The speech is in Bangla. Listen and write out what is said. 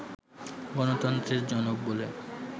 গণতন্ত্রের জনক বলে